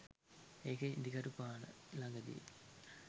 ඒක ඉඳිකටුපාන ලඟදි